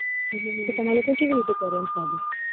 તો તમાર લોકો ને કેવી રીતે એમ શાદી